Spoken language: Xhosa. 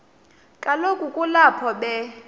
kaloku kulapho be